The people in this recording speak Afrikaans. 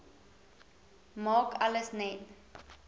maak alles net